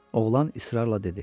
Oğlan israrla dedi: